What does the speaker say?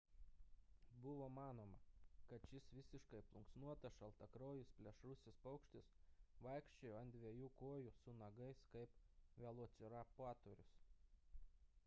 buvo manoma kad šis visiškai plunksnuotas šiltakraujis plėšrusis paukštis vaikščiojo ant dviejų kojų su nagais kaip velociraptorius